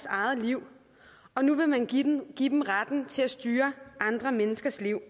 eget liv og nu vil man give give dem retten til at styre andre menneskers liv